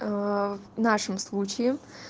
в нашем случае